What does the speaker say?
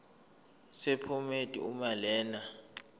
sephomedi uma lena